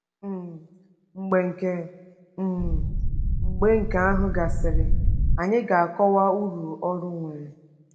um Mgbe nke um Mgbe nke ahụ gasịrị, anyị ga-akọwa uru ọrụ nwere.